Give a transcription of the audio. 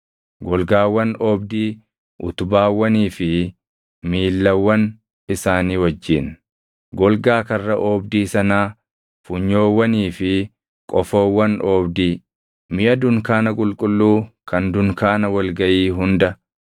golgaawwan oobdii utubaawwanii fi miillawwan isaanii wajjin, golgaa karra oobdii sanaa, funyoowwanii fi qofoowwan oobdii, miʼa dunkaana qulqulluu kan dunkaana wal gaʼii hunda;